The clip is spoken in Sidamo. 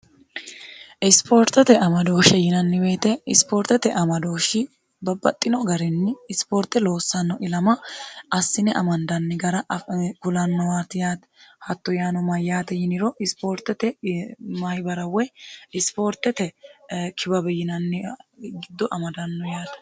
isipoortete amadooshe yinanni woyiite isipoortete amadooshi babbaxxino garinni isipoorte loossanno ilama assine amandanni gara kulanni yaate hatto yaano mayyaate yiniro isipoortete mayibaraw woy isipoortete kibabi yinanni giddo amadanno yaate